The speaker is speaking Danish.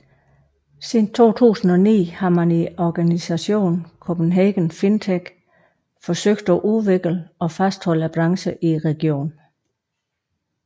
Siden 2009 har man i organisationen Copenhagen FinTech forsøgt at udvikle og fastholde branchen i regionen